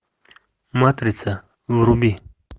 матрица вруби